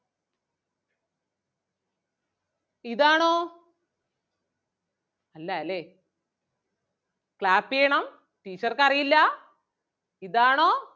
ഇതാണോ? അല്ലാല്ലേ? clap ചെയ്യണം teacher ക്ക് അറിയില്ല ഇതാണോ?